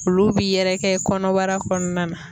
Olu bi yɛrɛkɛ kɔnɔbara kɔnɔna na.